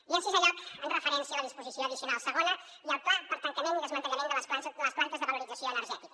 i en sisè lloc amb referència a la disposició addicional segona i al pla per a tancament i desmantellament de les plantes de valorització energètica